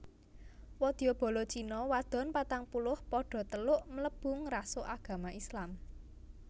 Wadya bala China wadon patangpuluh padha teluk mlebu ngrasuk agama Islam